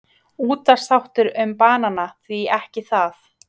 Útvarpsþáttur um banana, því ekki það?